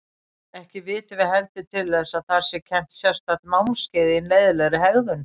Ekki vitum við heldur til þess að þar sé kennt sérstakt námskeið í leiðinlegri hegðun.